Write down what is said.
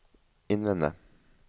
innvende